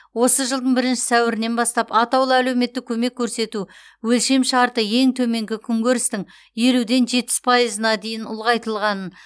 осы жылдың бірінші сәуірінен бастап атаулы әлеуметтік көмек көрсету өлшемшарты ең төменгі күнкөрістің елуден жетпіс пайызына дейін ұлғайтылғанын